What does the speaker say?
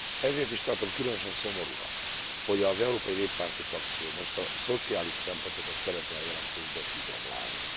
Ezért is tartom különösen szomorúnak, hogy az európai néppárti frakció most a szociális szempontokat szeretné a jelentésből kigyomlálni.